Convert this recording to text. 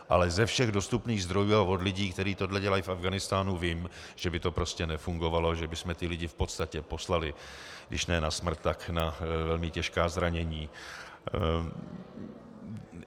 Ale ze všech dostupných zdrojů a od lidí, kteří tohle dělají v Afghánistánu, vím, že by to prostě nefungovalo, že bychom ty lidi v podstatě poslali když ne na smrt, tak na velmi těžká zranění.